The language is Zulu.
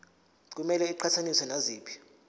kumele iqhathaniswe naziphi